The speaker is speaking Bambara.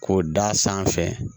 K'o da sanfɛ